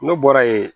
Ne bɔra yen